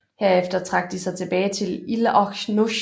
Herefter trak de sig tilbage til Ile aux Noix